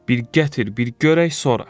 Bir gətir, bir görək sonra.